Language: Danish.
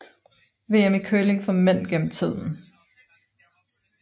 VM i curling for mænd gennem tiden